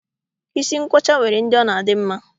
Isi nkwọcha nwere ndị ọ na-adị mma